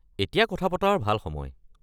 এতিয়া কথা পতাৰ ভাল সময়।